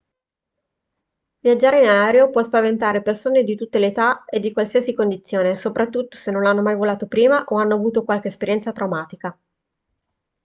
viaggiare in aereo può spaventare persone di tutte le età e di qualsiasi condizione soprattutto se non hanno mai volato prima o hanno avuto qualche esperienza traumatica